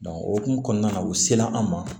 o hokumu kɔnɔna na u sela an ma